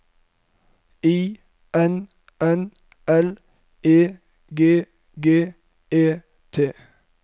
I N N L E G G E T